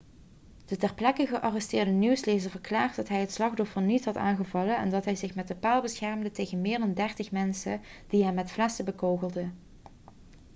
de ter plekke gearresteerde nieuwslezer verklaarde dat hij het slachtoffer niet had aangevallen en dat hij zich met de paal beschermde tegen meer dan dertig mensen die hem met flessen bekogelden